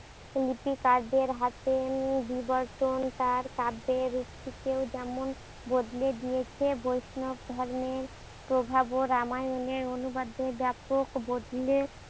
নীতি কার্যের হাতে বিবর্তন তার কাব্যের রূপটিকেই যেমন বদলে দিয়েছে বৈষ্ণৱ ধর্মের প্রভাবে রামায়ণের অনুবাদে বেপক বদলে